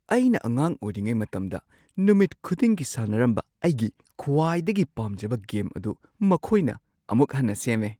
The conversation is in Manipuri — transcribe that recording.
ꯑꯩꯅ ꯑꯉꯥꯡ ꯑꯣꯏꯔꯤꯉꯩ ꯃꯇꯝꯗ ꯅꯨꯃꯤꯠ ꯈꯨꯗꯤꯡꯒꯤ ꯁꯥꯟꯅꯔꯝꯕ ꯑꯩꯒꯤ ꯈ꯭ꯋꯥꯏꯗꯒꯤ ꯄꯥꯝꯖꯕ ꯒꯦꯝ ꯑꯗꯨ ꯃꯈꯣꯏꯅ ꯑꯃꯨꯛ ꯍꯟꯅ ꯁꯦꯝꯃꯦ!